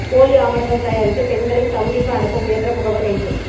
போலி ஆவணங்கள் தயாரித்து பெண்களை சவுதிக்கு அனுப்ப முயன்ற முகவர் கைது